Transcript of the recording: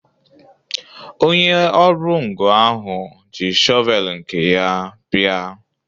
Onye ọrụ ngo ahụ ji shọvel nke ya bia